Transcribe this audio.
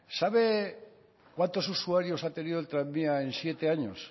sabe cuántos usuarios ha tenido el tranvía en siete años